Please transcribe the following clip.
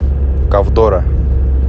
ковдора